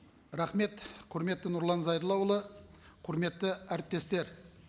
рахмет құрметті нұрлан зайроллаұлы құрметті әріптестер